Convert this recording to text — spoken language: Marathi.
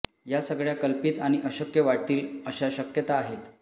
या सगळ्या कल्पित आणि अशक्य वाटतील अशा शक्यता आहेत